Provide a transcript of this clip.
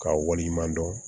K'a waleɲuman dɔn